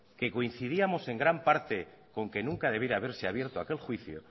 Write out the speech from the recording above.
que coincidíamos en gran parte con que nunca debiera de haberse abierto aquel juicio